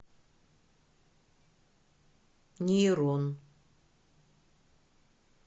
нейрон